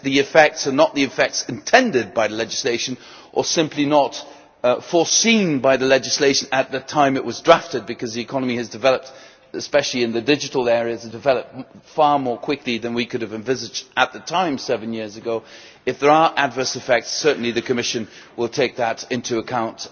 If the effects are not the effects intended by the legislation, or simply not foreseen by the legislation at the time it was drafted because the economy has developed in the digital area in particular and developed far more quickly than we could have envisaged at the time seven years ago, or if there are adverse effects, then certainly the Commission will take that into account.